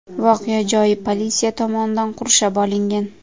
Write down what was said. Voqea joyi politsiya tomonidan qurshab olingan.